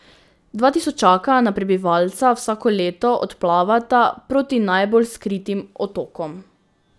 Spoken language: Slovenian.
Dva tisočaka na prebivalca vsako leto odplavata proti najbolj skritim otokom.